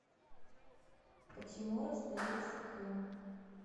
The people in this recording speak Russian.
почему расслоился крем